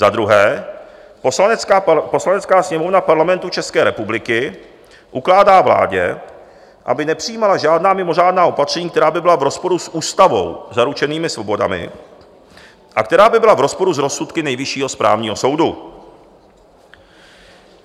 Za druhé: "Poslanecká sněmovna Parlamentu České republiky ukládá vládě, aby nepřijímala žádná mimořádná opatření, která by byla v rozporu s ústavou zaručenými svobodami a která by byla v rozporu s rozsudky Nejvyššího správního soudu."